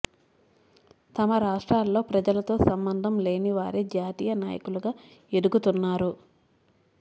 తమ రాష్ట్రాలలో ప్రజలతో సంబంధం లేని వారే జాతీయ నాయకులుగా ఎదు గుతున్నారు